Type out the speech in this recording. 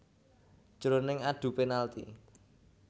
Jroning adu penalti